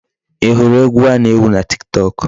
Ị hụrụ egwu a na-ewu na Tiktok?